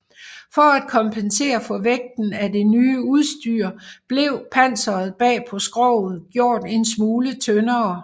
For at kompensere for vægten af det nye udstyr blev panseret bag på skroget gjort en smule tyndere